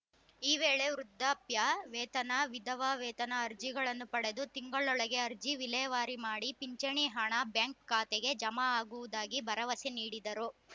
ಈ ವೇಳೆ ವೃದ್ಧಾಪ್ಯ ವೇತನ ವಿಧವಾ ವೇತನ ಅರ್ಜಿಗಳನ್ನು ಪಡೆದು ತಿಂಗಳೊಳಗೆ ಅರ್ಜಿ ವಿಲೇವಾರಿ ಮಾಡಿ ಪಿಂಚಣಿ ಹಣ ಬ್ಯಾಂಕ್‌ ಖಾತೆಗೆ ಜಮಾ ಆಗುವುದಾಗಿ ಭರವಸೆ ನೀಡಿದರು